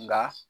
Nka